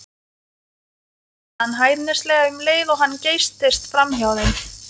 kallaði hann hæðnislega um leið og hann geystist framhjá þeim.